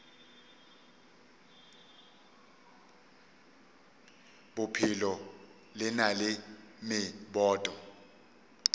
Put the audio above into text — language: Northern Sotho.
bophelo le na le meboto